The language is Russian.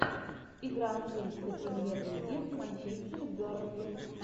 игра английской премьер лиги манчестер бернли